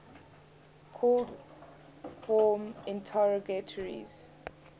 called form interrogatories